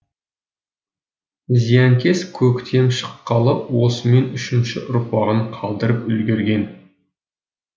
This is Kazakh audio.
зиянкес көктем шыққалы осымен үшінші ұрпағын қалдырып үлгерген